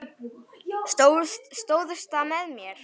Stóðst með mér.